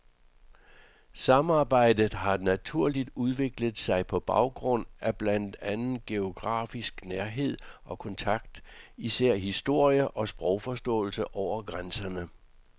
Samarbejdet har naturligt udviklet sig på baggrund af blandt andet geografisk nærhed og kontakt, fælles historie og sprogforståelse over grænserne.